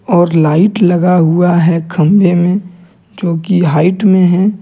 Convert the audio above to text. और लाइट लगा हुआ है खंभे में जो कि हाइट में है।